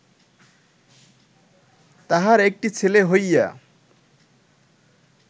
তাহার একটি ছেলে হইয়া